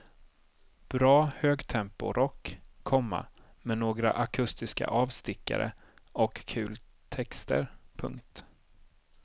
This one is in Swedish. Bra högtemporock, komma med några akustiska avstickare och kul texter. punkt